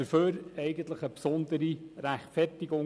Dafür brauchte es eigentlich eine besondere Rechtfertigung.